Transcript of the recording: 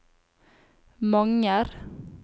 Manger